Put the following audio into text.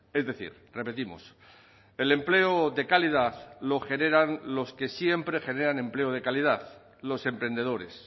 es decir repetimos el empleo de calidad lo generan los que siempre generan empleo de calidad los emprendedores